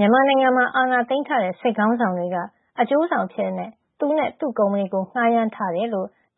မြန်မာနိုင်ငံမှာ အာဏာသိမ်းထားတဲ့ စစ်ခေါင်းဆောင်တွေက အကျိုးဆောင်အဖြစ် သူနဲ့သူ့ကုမ္ပဏီကို ငှားရမ်းထားကြောင်း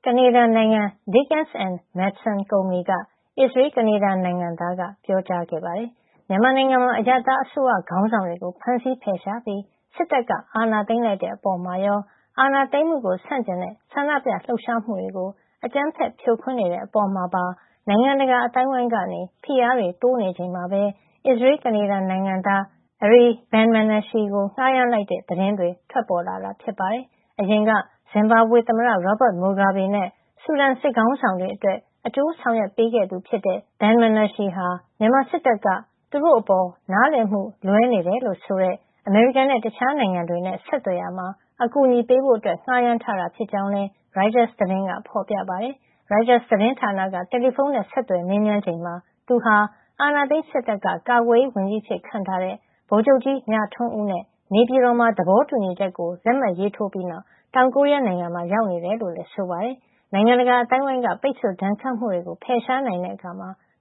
ကနေဒါနိုင်ငံ Dickens & Madson ကုမ္ပဏီက အစ္စရေး- ကနေဒါနိုင်ငံသားက ပြောလိုက်ပါတယ်။ မြန်မာနိုင်ငံမှာ အရပ်သားအစိုးရ ခေါင်းဆောင်တွေကို ဖမ်းဆီးဖယ်ရှားပြီး စစ်တပ်က အာဏာသိမ်းလိုက်တဲ့အပေါ်မှာရော၊ အာဏာသိမ်းမှုကို ဆန့်ကျင်တဲ့ ဆန္ဒပြလှုပ်ရှားမှုတွေကို အကြမ်းဖက် ဖြိုခွင်းနေတဲ့ အပေါ်မှာပါ နိုင်ငံတကာ အသိုင်းအဝန်းက ဖိအားတွေ တိုးနေချိန်မှာပဲ အစ္စရေးလ်-ကနေဒါ နိုင်ငံသား Ari Ben-Menashe ကို ငှားရမ်းလိုက်တဲ့ သတင်း ထွက်ပေါ်လာတာပါ။ အရင်က ဇင်ဘာဘွေသမ္မတ Robert Mugabe နဲ့ ဆူဒန် စစ်ခေါင်းဆောင်တွေအတွက် အကျိုးဆောင်ရွက်ပေးခဲ့သူဖြစ်တဲ့ Ben-Menashe ဟာ မြန်မာစစ်တပ်က သူတို့အပေါ် နားလည်မှုလွဲနေတယ်လို့ဆိုတဲ့ အမေရိကန်နဲ့ တခြားနိုင်ငံတွေနဲ့ ဆက်သွယ်ရာမှာ အကူအညီပေးဖို့ ငှားရမ်းထားတာ ဖြစ်ကြောင်းလည်း ရိုက်တာသတင်းက ဖော်ပြပါတယ်။ ရိုက်တာသတင်းဌာနက တယ်လီဖုန်းနဲ့ ဆက်သွယ်မေးမြန်းချိန်မှာ သူဟာ အာဏာသိမ်းစစ်တပ်က ကာကွယ်ရေးဝန်ကြီးအဖြစ် ခန့်ထားတဲ့ ဗိုလ်ချုပ်ကြီး မြထွန်းဦးနဲ့ နေပြည်တော်မှာ သဘောတူညီချက်ကို လက်မှတ်ရေးထိုးပြီးနောက် တောင်ကိုရီးယား နိုင်ငံမှာ ရောက်နေတယ်လို့လည်း ဆိုပါတယ်။ နိုင်ငံတကာအသိုင်းအဝန်းက ပိတ်ဆို့ဒဏ်ခတ်မှုတွေကို ဖယ်ရှားနိုင်တဲ့အခါ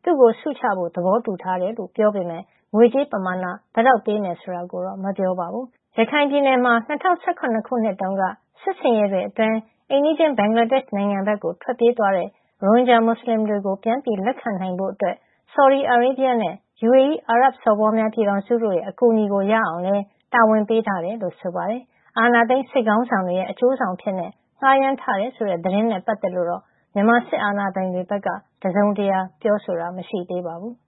သူ့ကို ဆုချဖို့ သဘောတူထားတယ်လို့လည်း ပြောပေမဲ့ ငွေကြေးပမာဏ ဘယ်လောက်ပေးမယ် ဆိုတာကိုတော့ မပြောပါဘူး။ ရခိုင်ပြည်နယ်မှာ ၂၀၁၇ ခုနှစ်တုန်းက စစ်ဆင်ရေးတွေအတွင်း အိမ်နီးချင်းဘင်္ဂလားဒေ့ရှ်နိုင်ငံကို ထွက်ပြေးသွားတဲ့ ရိုဟင်ဂျာ မွတ်ဆလင်တွေကို ပြန်လက်ခံနိုင်ဖို့ ဆော်ဒီအာရေဗီးယားနဲ့ UAE အာရပ်စော်ဘွားများ ပြည်ထောင်စုတို့ရဲ့ အကူအညီ ရအောင်လည်း တာဝန်ပေးထားတယ်လို့ ဆိုပါတယ်။ အာဏာသိမ်း စစ်ခေါင်းဆောင်တွေရဲ့ အကျိုးဆောင်အဖြစ် ငှားရမ်းထားတယ်ဆိုတဲ့ သတင်းနဲ့ ပတ်သက်လို့တော့ မြန်မာစစ်အာဏာပိုင်တွေဖက်က တစုံတရာ ပြောဆိုထားတာတော့ မရှိသေးပါဘူး။